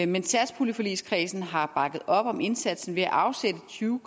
men satspuljeforligskredsen har bakket op om indsatsen ved at afsætte tyve